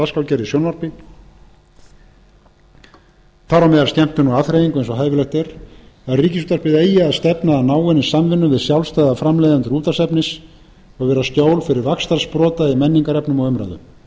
dagskrárgerð í sjónvarpi þar á meðal skemmtun og afþreyingu eins og hæfilegt er að ríkisútvarpið eigi að stefna að náinni samvinnu við sjálfstæða framleiðendur útvarpsefnis og vera skjól fyrir vaxtarsprota í menningarefni og umræðu í fimmta lagi nefnum við sérstaklega